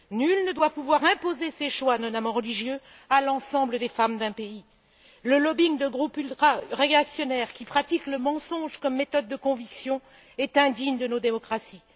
Nul ne doit pouvoir imposer ses choix, notamment religieux, à l'ensemble des femmes d'un pays. Le lobbying de groupes ultraréactionnaires qui pratiquent le mensonge comme méthode de conviction est indigne de nos démocraties.